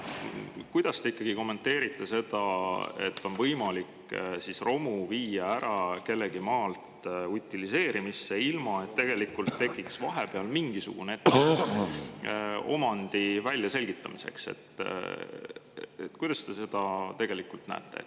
Kuidas te kommenteerite seda, et on võimalik romu viia ära kellegi maalt utiliseerimisse, ilma et tekiks vahepeal mingisugune etapp omandi väljaselgitamiseks?